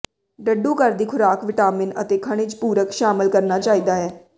ਡੱਡੂ ਘਰ ਦੀ ਖੁਰਾਕ ਵਿਟਾਮਿਨ ਅਤੇ ਖਣਿਜ ਪੂਰਕ ਸ਼ਾਮਿਲ ਕਰਨਾ ਚਾਹੀਦਾ ਹੈ